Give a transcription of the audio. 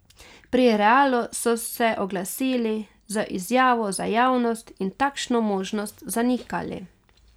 Pri Realu so se oglasili z izjavo za javnost in takšno možnost zanikali.